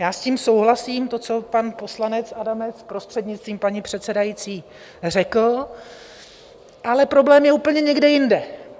Já s tím souhlasím, to, co pan poslanec Adamec, prostřednictvím paní předsedající, řekl, ale problém je úplně někde jinde.